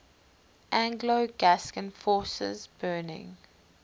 anglo gascon forces burning